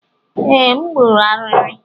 Ee, m gburu ariri